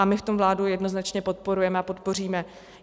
A my v tom vládu jednoznačně podporujeme a podpoříme.